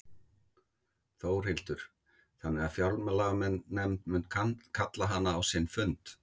Þórhildur: Þannig að fjárlaganefnd mun kalla hana á sinn fund?